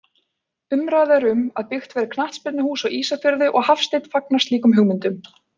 Umræða er um að byggt verði knattspyrnuhús á Ísafirði og Hafsteinn fagnar slíkum hugmyndum.